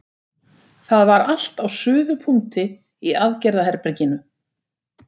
Það var allt á suðupunkti í aðgerðaherberginu.